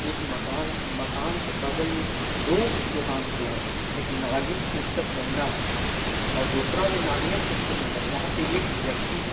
एक माकन है मकान एक बगल में दो दुकान खुला हुआ है एक नगीन पुस्तक भंडार और दूसरा भि नगीने पुस्तक भन्दर भंडार वहाँ पे एक व्यक्ति है।